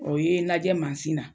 O ye n lajɛ na